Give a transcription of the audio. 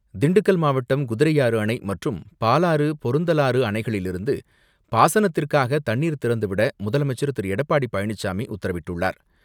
திண்டுக்கல் மாவட்டம் குதிரையாறு அணை மற்றும் பாலாறு பொருந்தலாறு அணைகளிலிருந்து பாசனத்திற்காக தண்ணீர் திறந்துவிட முதலமைச்சர் திரு எடப்பாடி பழனிசாமி உத்தரவிட்டுள்ளார்.